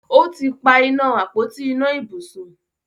ọtí pá iná Àpótí iná ibùsùn